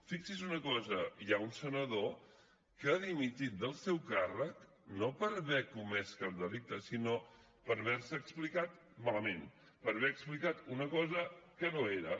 fixi’s una cosa hi ha un senador que ha dimitit del seu càrrec no per haver comès cap delicte sinó per haver se explicat malament per haver explicat una cosa que no era